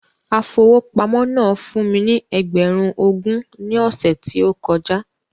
Afowópamọ́ náà fún mí ní ẹgbẹ̀run ogún ní ọsẹ ti o kọjá